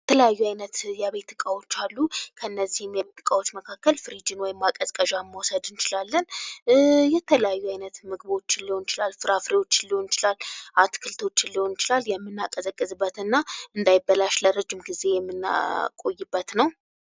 የተለያዩ አይነት የቤት እቃዎች አሉ። ከእነዚህም የቤት እቃዎች መካከል ፍሪጅን ወይም ማቀዝቀዣን መዉሰድ እንችላለን። የተለያዩ አይነት ምግቦችን ሊሆን ይችላል። ፍራፍሬዎችን ሊሆን ይችላል። አትክልቶችን ሊሆን ይችላል። የምናቀዘቅዝበት እና እንዳይበላሽ የምናቆይበት ነዉ።